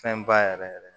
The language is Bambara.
Fɛn ba yɛrɛ yɛrɛ